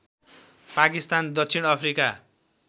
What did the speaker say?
पाकिस्तान दक्षिण अफ्रिका